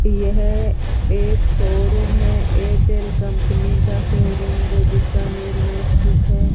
यह एक शोरूम है एयरटेल कंपनी का शोरूम जो बीकानेर में स्थित है।